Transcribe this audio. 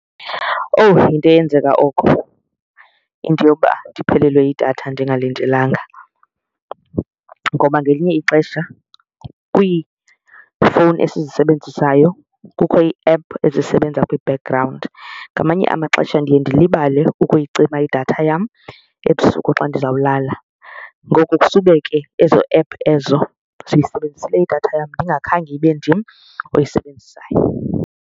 Owu, yinto eyenzeka oko into yoba ndiphelelwe yidatha ndingalindelanga ngoba ngelinye ixesha kwiifowuni esizisebenzisayo kukho ii-app ezisebenza kwi-background. Ngamanye amaxesha ndiye ndilibale ukuyicima idatha yam ebusuku xa ndizawulala ngoku kusube ke ezo app ezo zisebenzise idatha yam ndingakhange ibe ndim oyisebenzisayo.